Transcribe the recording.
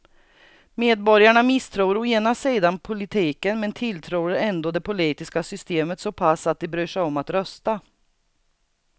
Medborgarna misstror å ena sidan politiken men tilltror ändå det politiska systemet så pass att de bryr sig om att rösta.